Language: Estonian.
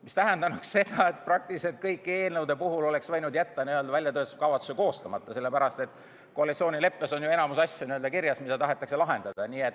See tähendanuks seda, et praktiliselt kõikide eelnõude puhul võinuks väljatöötamiskavatsuse jätta koostamata, sellepärast et koalitsioonileppes on kirjas ju enamik asju, mida tahetakse lahendada.